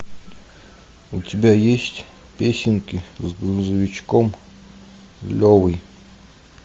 у тебя есть песенки с грузовичком левой